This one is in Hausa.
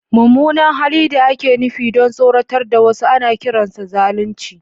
Mummunan hali da ake nufi don tsoratar da wasu ana kiransa zalunci.